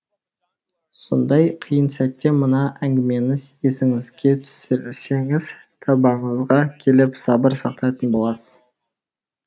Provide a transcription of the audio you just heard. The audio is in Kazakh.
сондай қиын сәтте мына әңгімені есіңізге түсірсеңіз тәубаңызға келіп сабыр сақтайтын боласыз